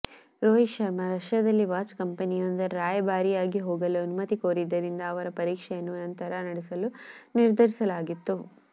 ರೋಹಿತ್ ಶರ್ಮಾ ರಷ್ಯಾದಲ್ಲಿ ವಾಚ್ ಕಂಪೆನಿಯೊಂದರ ರಾಯಭಾರಿಯಾಗಿ ಹೋಗಲು ಅನುಮತಿ ಕೋರಿದ್ದರಿಂದ ಅವರ ಪರೀಕ್ಷೆಯನ್ನು ನಂತರ ನಡೆಸಲು ನಿರ್ಧರಿಸಲಾಗಿತ್ತು